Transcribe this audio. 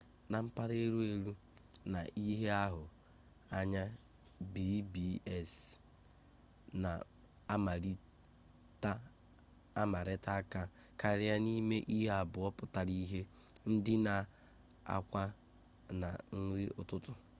na mpara elu-elu na ihe ahu anya b&bs na amarita-aka karia nime ihe abuo putara-ihe: ndina na akwa na nri ututu